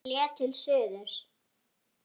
Hann hélt til suðurs.